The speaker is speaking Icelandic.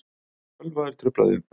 Ölvaður truflaði umferð